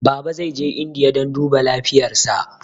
Baba zai je indiya dan duba lafiyar sa